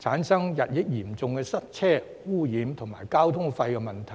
產生日益嚴重的塞車、污染及交通費問題。